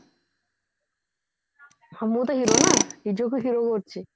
ହଁ ମୁଁ ତ hero ନା ନିଜକୁ hero ଭାବୁଛି